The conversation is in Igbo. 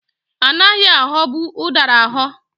Anaghị aghọbụ ụdara aghọ.